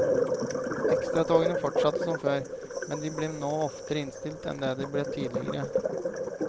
Ekstratogene fortsatte som før, men de ble nå oftere innstilt enn de ble tidligere.